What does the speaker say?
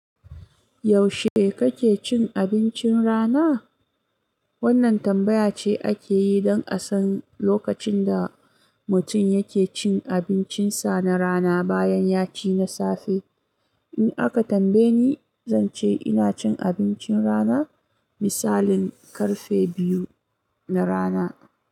Yaushe kake cin abincin rana? Wannan tambaya ce ake yi don a san lokacin da mutum yake cin abincinsa na rana bayan ya ci na safe. In aka tambaye ni, zan ce ina cin abincin rana misalin ƙarfe biyu na rana.